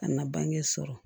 Ka na bange sɔrɔ